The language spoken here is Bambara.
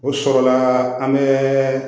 O sɔrɔla an bɛ